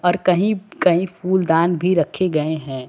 और कहीं कहीं फूलदान भी रखे गए हैं।